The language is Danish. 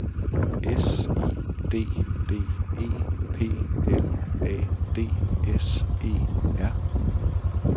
S I D D E P L A D S E R